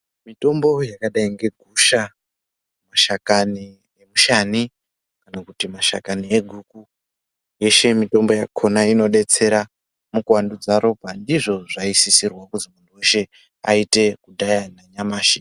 Mitombo yakadai ngegusha, mashakani emushani kana kuti mashakani eguku, yeshe mitombo yakhona inodetsera mukuwandudza ropa ndizvo zvaisisirwa kuti munhtu weshe aite kudhaya nanyamashi.